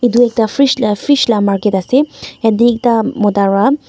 tu ekta fish la fish market ase yatae ekta mota wra--